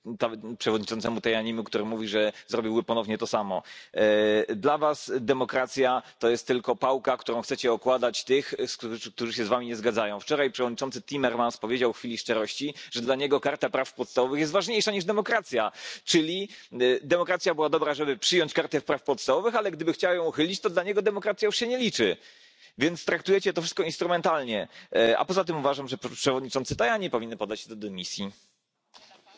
L'idée d'une convention sur les systèmes d'armes autonomes pourrait être une réponse adaptée, si elle imposait un moratoire ou une interdiction totale aux États signataires, mais il faudrait que cette convention comprenne la Chine, les États Unis, l'Iran, l'Israël et la Russie, qui ne participent déjà pas à la convention d'Osaka sur les mines antipersonnel, sans quoi elle ne servirait absolument à rien. Quels que soient les problèmes éthiques en présence, il n'est pas question que le manque de lucidité et de développement militaire des États européens rende ceux ci toujours plus dépendants des grandes puissances.